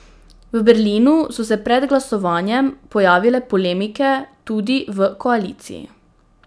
V Berlinu so se pred glasovanjem pojavile polemike tudi v koaliciji.